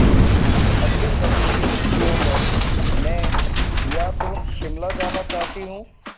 अगली सर्दी की छुट्टियों में मैं या तो शिमला जाना चाहती हूँ